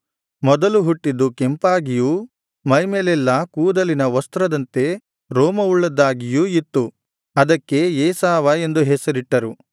ಮೊದಲು ಹುಟ್ಟಿದ್ದು ಕೆಂಪಾಗಿಯೂ ಮೈಮೇಲೆಲ್ಲಾ ಕೂದಲಿನ ವಸ್ತ್ರದಂತೆ ರೋಮವುಳ್ಳದ್ದಾಗಿಯೂ ಇತ್ತು ಅದಕ್ಕೆ ಏಸಾವ ಎಂದು ಹೆಸರಿಟ್ಟರು